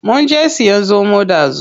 Munje siyan zomo ɗazu.